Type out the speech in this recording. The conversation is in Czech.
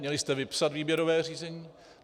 Měli jste vypsat výběrové řízení.